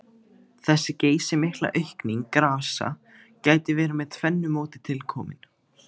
Þessi geysimikla aukning grasa gæti verið með tvennu móti tilkomin.